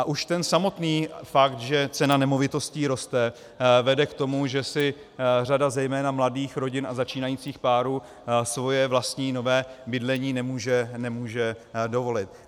A už ten samotný fakt, že cena nemovitostí roste, vede k tomu, že si řada zejména mladých rodin a začínajících párů svoje vlastní nové bydlení nemůže dovolit.